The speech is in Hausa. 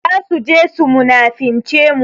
Za su je su munafince mu.